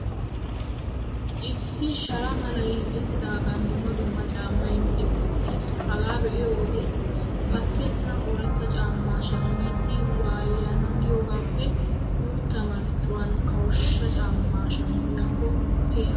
Issi shara malay hiixettidaagan dumma dumma caammay micetti uttiis. Hagaa be'iyo wode, pattenna ooratta caammaa shammidi waya'na giyoogaappe guutta marccuwan kawushsha caammaa shammiyakko keha.